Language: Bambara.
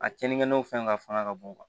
A kɛnnin no fɛn ka fanga ka bon